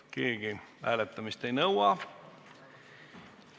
Keegi hääletamist ei nõua.